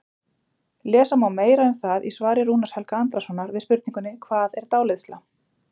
Lesa má meira um það í svari Rúnars Helga Andrasonar við spurningunni Hvað er dáleiðsla?